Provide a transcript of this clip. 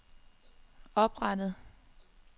oprettet